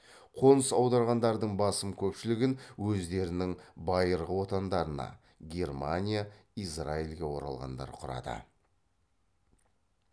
қоныс аударғандардың басым көпшілігін өздерінің байырғы отандарына германия израильге оралғандар құрады